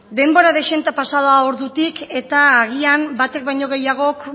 denbora dezente pasa da ordutik eta agian baten baino gehiagok